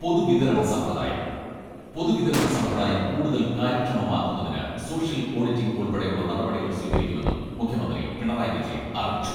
പൊതുവിതരണ സമ്പ്രദായം പൊതുവിതരണ സമ്പ്രദായം കൂടുതൽ കാര്യക്ഷമമാക്കുന്നതിന് സോഷ്യൽ ഓഡിറ്റിംഗ് ഉൾപ്പെടെയുള്ള നടപടികൾ സ്വീകരിക്കുമെന്നും മുഖ്യമന്ത്രി പിണറായി വിജയൻ അറിയിച്ചു.